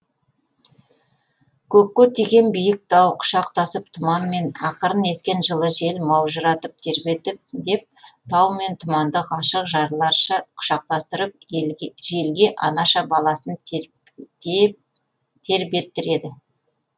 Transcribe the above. көкке тиген биік тау құшақтасып тұманмен ақырын ескен жылы жел маужыратып тербетіп деп тау мен тұманды ғашық жарларша құшақтастырып желге анаша баласын тербеттіреді